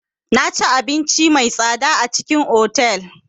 Naci abinci mai tsada a cikin otal.